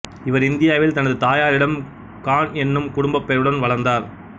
இவர் இந்தியாவில் தனது தாயாரிடம் கான் என்னும் குடும்பப் பெயருடன் வளர்ந்தார்